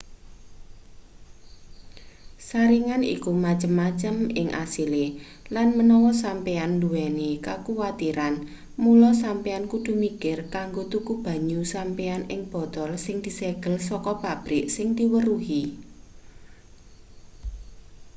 saringan iku macem-macem ing asile lan menawa sampeyan duweni kekuwatiran mula sampeyan kudu mikir kanggo tuku banyu sampeyan ing botol sing disegel saka pabrik sing diweruhi